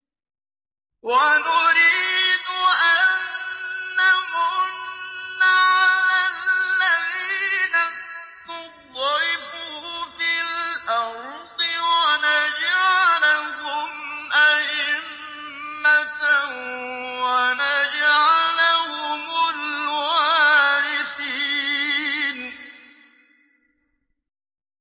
وَنُرِيدُ أَن نَّمُنَّ عَلَى الَّذِينَ اسْتُضْعِفُوا فِي الْأَرْضِ وَنَجْعَلَهُمْ أَئِمَّةً وَنَجْعَلَهُمُ الْوَارِثِينَ